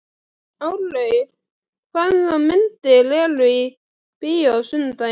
Árlaug, hvaða myndir eru í bíó á sunnudaginn?